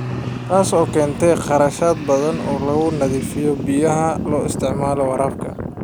Taas oo keentay kharash badan oo lagu nadiifiyo biyaha loo isticmaalo waraabka.